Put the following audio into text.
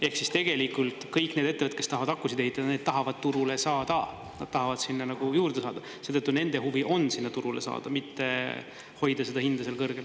Ehk tegelikult kõik need ettevõtted, kes tahavad akusid ehitada, need tahavad turule saada, nad tahavad sinna juurde saada, seetõttu nende huvi on sinna turule saada, mitte hoida seda hinda kõrgel.